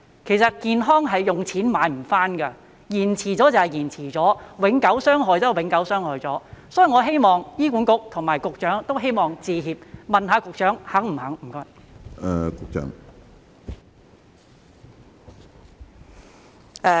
其實健康是用錢買不到的，延遲醫治便是延遲了，永久傷害便是永久傷害了，所以我希望醫管局和局長都會道歉，請問局長是否願意這樣做？